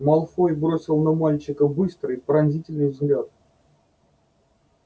малфой бросил на мальчика быстрый пронзительный взгляд